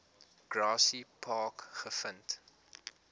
grassy park gevind